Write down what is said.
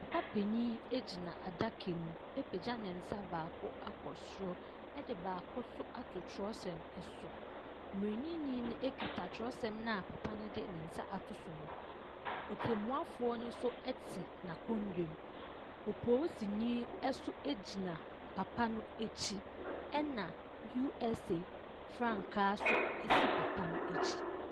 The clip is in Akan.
Papa panin gyina adakamu apagya ne nsa baako akɔ soro de baako nso ato twerɛsɛm so. Mmaranimni no kita twerɛsɛm no a papa no de ne nsa ato so no. Otemmuafoɔ no nso te n'akonnwa mu. Polisini nso gyina papa no akyi, ɛna USA frankaa nso si papa no akyi.